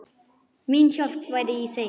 Mín hjálp væri í þeim.